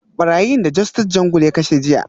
Barayin da Justice Jungle ya kashe a jiya